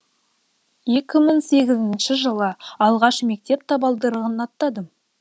екі мың сегізінші жылы алғаш мектеп табалдырығын аттадым